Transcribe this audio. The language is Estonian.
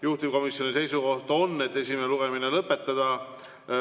Juhtivkomisjoni seisukoht on, et esimene lugemine tuleb lõpetada.